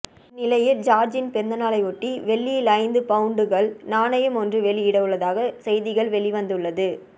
இந்நிலையில் ஜார்ஜின் பிறந்த நாளை ஒட்டி வெள்ளியில் ஐந்து பவுண்டுகள் நாணயம் ஒன்று வெளியிட உள்ளதாக செய்திகள் வெளிவந்துள்ளது